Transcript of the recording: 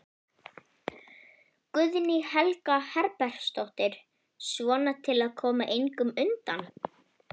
Guðný Helga Herbertsdóttir: Svona til að koma eignum undan?